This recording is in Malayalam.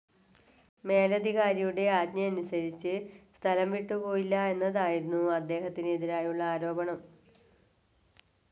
മേലധികാരിയുടെ ആജ്ഞയനുസരിച്ച് സ്ഥലം വിട്ടുപോയില്ല എന്നതായിരുന്നു അദ്ദേഹത്തിനെതിരായുള്ള ആരോപണം.